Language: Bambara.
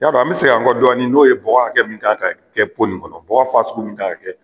Y'a dɔn an bi segin an kɔ dɔɔni n'o ye bɔgɔ hakɛ mun kan ka kɛ nunnu kɔnɔ . Bɔgɔ mun kan ka kɛ